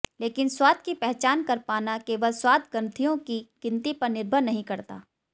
लेकिन स्वाद की पहचान कर पाना केवल स्वादग्रंथियों की गिनती पर निर्भर नहीं करता